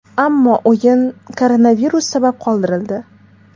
Ammo o‘yin koronavirus sabab qoldirildi .